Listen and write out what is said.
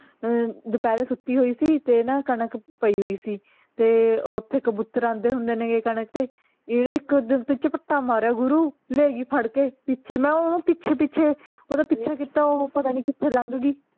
ਅਮ ਦੁਪਹਿਰੇ ਸੁੱਤੀ ਹੋਈ ਸੀ ਤੇ ਨਾ ਕਣਕ ਪਈ ਹੋਈ ਸੀ ਤੇ ਓਥੇ ਕਬੂਤਰ ਆਂਦੇ ਹੁੰਦੇ ਨੇ ਕਣਕ ਤੇ ਇਹਨੇ ਇੱਕ ਓਦਰ ਤੋਂ ਝਪੱਟਾ ਮਾਰਿਆ ਗੁਰੂ ਲੈਗੀ ਫੜ ਕੇ ਮੈਂ ਓਹਨੂੰ ਪਿੱਛੇ ਪਿੱਛੇ ਓਹਦਾ ਪਿੱਛਾ ਕਿੱਤਾ ਓਹੋ ਪਤਾ ਨੀ ਕਿੱਥੇ ਲੰਗ ਗਈ